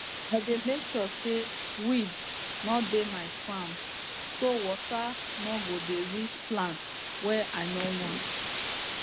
i dey make sure say weed no dey my farmm so water no go dey reach plant wey i no want